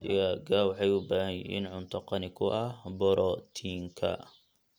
Digaagga waxay u baahan yihiin cunto qani ku ah borotiinka.